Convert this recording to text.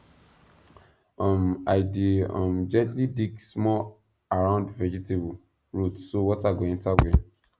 um i dey um gently dig small around vegetable root so water go enter well